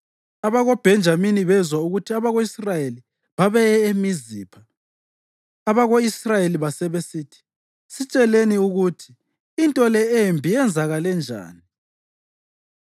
(AbakoBhenjamini bezwa ukuthi abako-Israyeli babeye eMizipha.) Abako-Israyeli basebesithi, “Sitsheleni ukuthi into le embi yenzakale njani.”